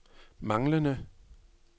manglende